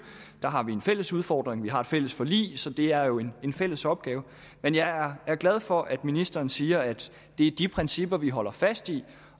der har vi en fælles udfordring vi har et fælles forlig så det er jo en fælles opgave men jeg er glad for at ministeren siger at det er de principper vi holder fast i